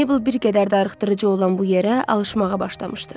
Mabel bir qədər darıxdırıcı olan bu yerə alışmağa başlamışdı.